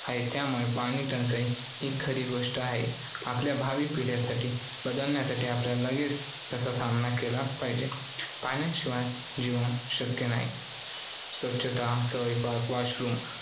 आहे त्यामुळे पाणी टंचाई ही खरी गोष्ट आहे. आपल्या भावी पिढ्यांसाठी बदलण्यासाठी आपण लगेच त्याचा सामना केला पाहिजे. पाण्याशिवाय जीवन शक्य नाही. स्वच्छता, स्वयंपाक, washroom वापरणे आणि बरेच काही